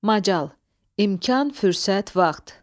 Macal – imkan, fürsət, vaxt.